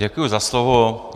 Děkuji za slovo.